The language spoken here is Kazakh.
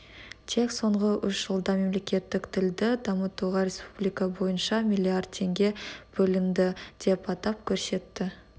тек соңғы үш жылда мемлекеттік тілді дамытуға республика бойынша миллиард теңге бөлінді деп атап көрсетті